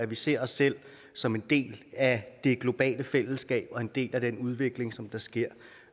vi ser os selv som en del af det globale fællesskab og en del af den udvikling som der sker